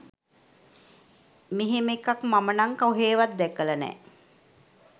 මෙහෙම එකක් මම නම් කොහෙවත් දැකල නෑ